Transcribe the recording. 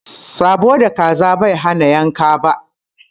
Sãbo da kaza Bai hana yanka ba